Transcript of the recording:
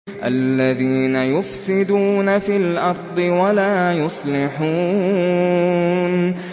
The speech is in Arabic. الَّذِينَ يُفْسِدُونَ فِي الْأَرْضِ وَلَا يُصْلِحُونَ